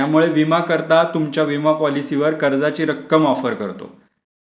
त्यामुळे विमा करता तुमच्या विमा पॉलिसीवर कर्जाची रक्कम वापर करतो.